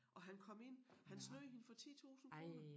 Og han kom ind han snød hende for 10 tusind kroner